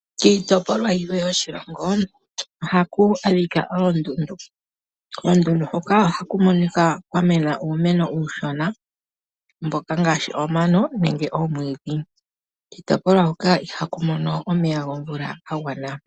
Kiitopolwa yimwe yoshilongo oha ku adhika oondundu. Koondundu hoka ohaku adhika kwa mena uumeno uushona ngaashi omano nenge omwiidhi. Kiitopolwa hoka iha ku mono omeya gomvula ga gwana.